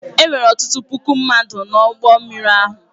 E nwere ọtụtụ puku mmadụ n’ụgbọ mmiri ahụ.